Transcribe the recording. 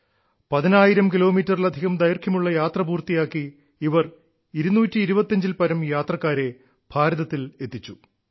പതിനായിരം കിലോമീറ്ററിലധികം ദൈർഘ്യമുള്ള യാത്ര പൂർത്തിയാക്കി ഇവർ 225 ൽപ്പരം യാത്രക്കാരെ ഭാരതത്തിൽ എത്തിച്ചു